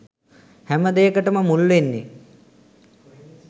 හැම දේකටම මුල් වෙන්නේ.